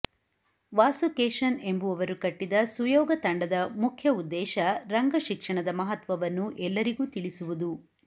ವಾಸು ಕೇಶನ್ ಎಂಬುವವರು ಕಟ್ಟಿದ ಸುಯೋಗ ತಂಡದ ಮುಖ್ಯ ಉದ್ದೇಶ ರಂಗಶಿಕ್ಷಣದ ಮಹತ್ವವನ್ನು ಎಲ್ಲರಿಗೂ ತಿಳಿಸುವುದು